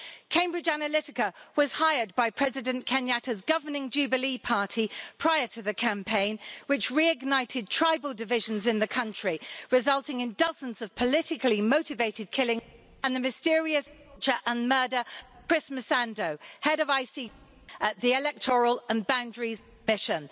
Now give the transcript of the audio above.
Cambridge Analytica was hired by President Kenyatta's governing Jubilee Party prior to the campaign which reignited tribal divisions in the country, resulting in dozens of politically motivated killings and the mysterious torture and murder of Chris Msando, the head of IEBC, the Independent Electoral and Boundaries Commission...